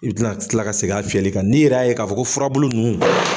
I bɛ kila kila ka segin a fiyɛli kan, n'i yɛrɛ'a ye k'a fɔ ko furabulu nunnu.